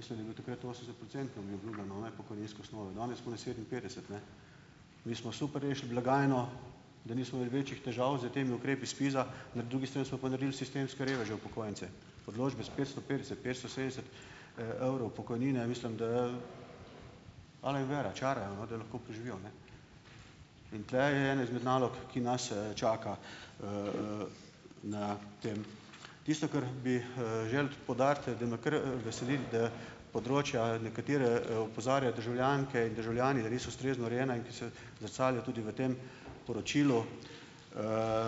mislim, da je bilo takrat osemdesetprocentno mi obljubljeno, ne, pokojninske osnove, danes komaj sedeminpetdeset, ne. Mi smo super rešili blagajno, da nismo imeli večjih težav s temi ukrepi SPIZ-a, na drugi strani smo pa naredili sistemske reveže upokojence. Odločbe s petsto petdeset, petsto sedemdeset evrov pokojnine, mislim, da ala jim vera, čarajo, no, da lahko preživijo, ne. In tule je ena izmed nalog, ki nas čaka. Na tem ... Tisto, kar bi želel poudariti, da me kar veseli, da področja, na katera opozarjajo državljanke in državljani, da niso ustrezno urejena, in ki se zrcalijo tudi v tem poročilu.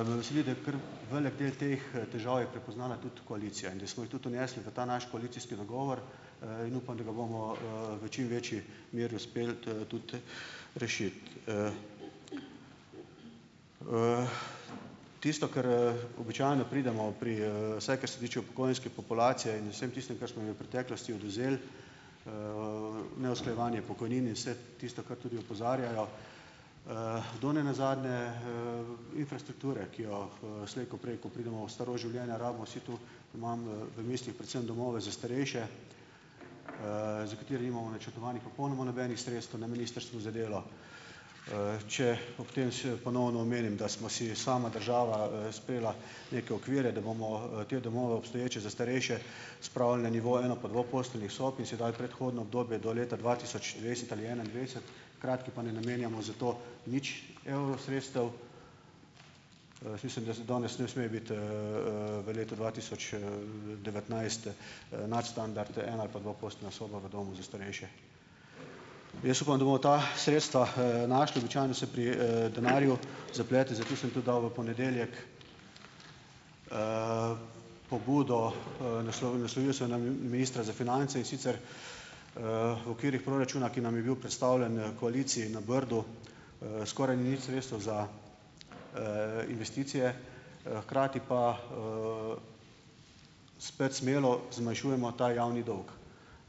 Me veseli, da kar velik del teh težav je prepoznala tudi koalicija in da smo jih tudi vnesli v ta naš koalicijski dogovor, in upam, da ga bomo v čim večji meri uspeli tudi rešiti Tisto, kar običajno pridemo, pri vsaj kar se tiče upokojenske populacije, in vsem tistim, kar smo jim v preteklosti odvzeli, neusklajevanje pokojnin in vse tisto, kar tudi opozarjajo, do ne nazadnje infrastrukture, ki jo slej ko prej, ko pridemo v starost življenja, rabimo vsi tu. Imam v mislih predvsem domove za starejše, za katere nimamo načrtovanih popolnoma nobenih sredstev na Ministrstvu za delo. Če ob tem se ponovno omenim, da sva si sama država sprejela neke okvire, da bomo te domove obstoječe za starejše spravili na nivo eno- pa dvoposteljnih sob in si dali predhodno obdobje do leta dva tisoč dvajset ali enaindvajset, hkrati pa ne namenjamo za to nič evrov sredstev. Jaz mislim, da za danes ne sme biti v letu dva tisoč devetnajst nadstandard eno- ali pa dvoposteljna soba v domu za starejše. Jaz upam, da bomo ta sredstva našli. Običajno se pri denarju zaplete, zato sem tudi dal v ponedeljek pobudo, naslovil sem na ministra za finance, in sicer v okvirih proračuna, ki nam je bil predstavljen, koaliciji, na Brdu, skoraj ni sredstev za investicije, hkrati pa spet smelo zmanjšujemo ta javni dolg.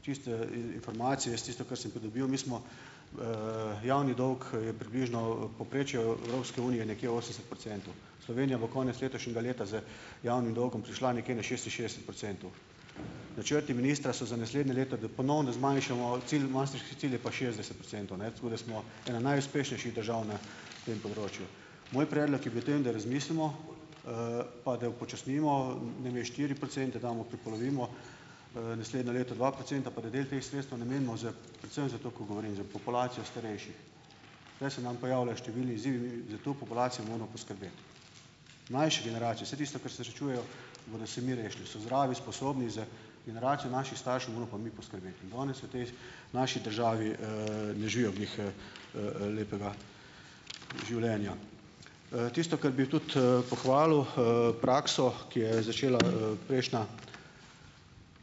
Čisto informacijo, jaz tisto, kar sem pridobil, mi smo javni dolg je približno povprečju Evropske unije nekje osemdeset procentov. Slovenija bo konec letošnjega leta z javnim dolgom prišla nekje na šestinšestdeset procentov. Načrti ministra so za naslednje leto, da ponovno zmanjšamo cilj, maastrichtski cilj je pa šestdeset procentov, ne. Tako da smo ena najuspešnejših držav na tem področju. Moj predlog je bil tem, da razmislimo, pa da upočasnimo, namesto štiri procente damo, prepolovimo, naslednje leto dva procenta pa da del teh sredstev namenimo z predvsem za to, ko govorim, za populacijo starejših. Tule se nam pojavlja številni izzivi, za to populacijo moramo poskrbeti. Mlajši generacije, vse tisto, kar se še čujejo, bodo sami rešili, so zdravi, sposobni, za generacijo naših staršev moramo pa mi poskrbeti in danes v tej naši državi ne živijo glih lepega življenja. Tisto, kar bi tudi pohvalil, prakso, ki jo je začela prejšnja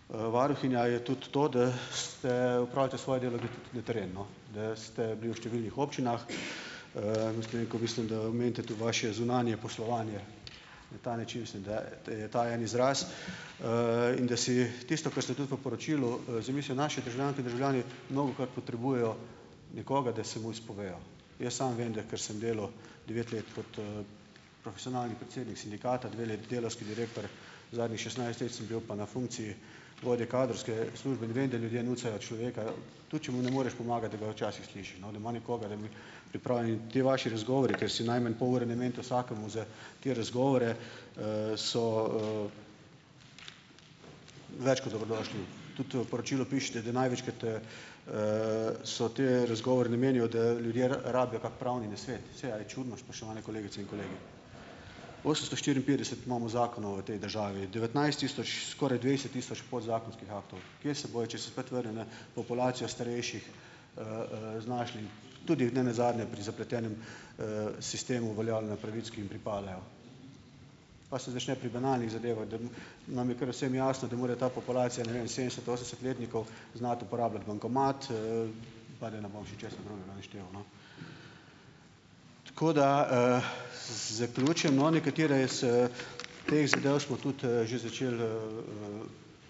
varuhinja, je tudi to, da ste opravite svoje delo na teren, no, da ste bili v številnih občinah, omenite tudi vaše zunanje poslovanje, na ta način mislim da, da je ta en izraz. in da si tisto, kar ste tudi v poročilu zamisjo naše državljanke in državljani mnogokrat potrebujejo nekoga, da se mu izpovejo. Jaz samo vem, da kar sem delal devet let kot profesionalni predsednik sindikata, dve leti delavski direktor, zadnjih šestnajst let sem bil pa na funkciji vodje kadrovske službe, in vem, da ljudje nucajo človeka tudi, če mu ne moreš pomagati, da ga včasih slišiš, no, da ima nekoga da mu. Pripravljeni ti vaši razgovori, kjer si najmanj pol ure namenite vsakemu za te razgovore, so več kot dobrodošlo . Tudi v poročilu pišete, da največkrat so ti razgovori namenijo, da ljudje rabijo kak pravni nasvet. Saj a je čudno, spoštovane kolegice in kolegi? Osemsto štiriinpetdeset imamo zakonov v tej državi, devetnajst tisoč skoraj dvajset tisoč podzakonskih aktov. Kje se bojo, če se spet na populacijo starejših, znašli tudi nenazadnje pri zapletenem sistemu uveljavljenja pravic, ki jim pripadajo, pa se začne pri banalnih zadevah, da bom? Nam je kar vsem jasno, da mora ta populacija, ne vem, sedemdeset-, osemdesetletnikov znati uporabljati bankomat Tako da zaključim. No, nekatere s teh zadev smo tudi že začeli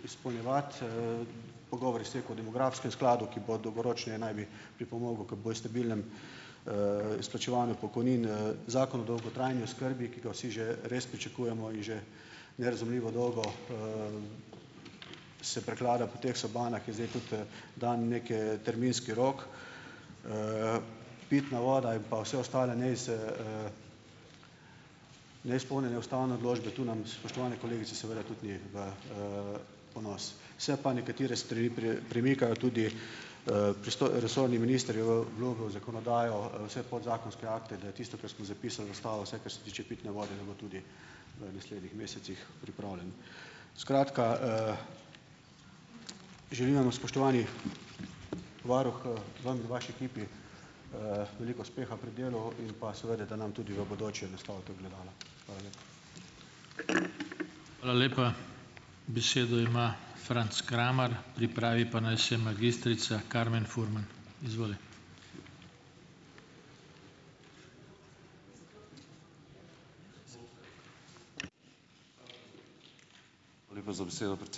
izpolnjevati pogovor je stekel o demografskem skladu, ki bo dolgoročneje naj bi pripomogel k bolj stabilnemu izplačevanju pokojnin Zakon o dolgotrajni oskrbi, ki ga vsi že res pričakujemo, in že nerazumljivo dolgo, se preklada po teh sobanah, je zdaj tudi dan neke terminski rok. Pitna voda in pa vse ostale neizpolnjene ustavne odločbe, tu nam, spoštovane kolegice, seveda tudi ni v ponos. Se pa nekatere stvari premikajo, tudi resorni minister je obljubil zakonodajo, vse podzakonske akte, da je tisto, kar smo zapisali, ostalo, vsaj, kar se tiče pitne vode, da bo tudi v naslednjih mesecih pripravljeno. Skratka želim vam, spoštovani varuh, vam in vaši ekipi, veliko uspeha pri delu in pa seveda, da nam tudi v bodoče nastavite ogledala. Hvala